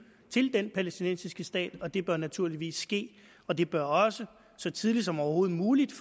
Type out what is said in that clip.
til denne palæstinensiske stat og det bør naturligvis ske og det bør også så tidligt som overhovedet muligt